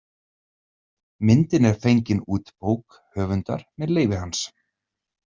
Myndin er fengin út bók höfundar með leyfi hans.